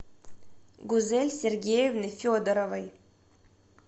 гузель сергеевны федоровой